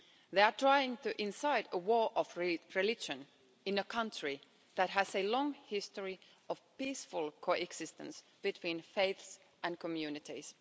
They are trying to incite a war of religion in a country that has a long history of peaceful coexistence between faiths and communities.